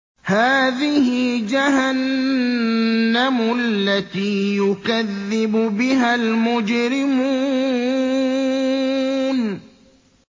هَٰذِهِ جَهَنَّمُ الَّتِي يُكَذِّبُ بِهَا الْمُجْرِمُونَ